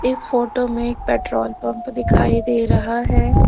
इस फोटो में एक पेट्रोल पंप दिखाई दे रहा है।